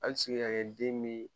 Al se ka kɛ den me